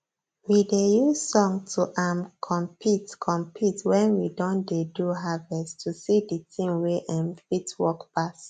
we dey use song to um compete compete when we don dey do harvest to see the team wey um fit work pass